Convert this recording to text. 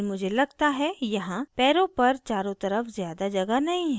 लेकिन मुझे लगता है यहाँ पैरों पर चारों तरफ ज़्यादा जगह नहीं है